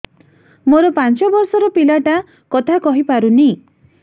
ମୋର ପାଞ୍ଚ ଵର୍ଷ ର ପିଲା ଟା କଥା କହି ପାରୁନି